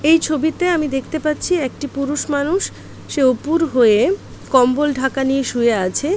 এই ছবিতে আমি দেখতে পাচ্ছি একটি পুরুষ মানুষ সে উপুর হয়ে কম্বল ঢাকা নিয়ে শুয়ে আছে।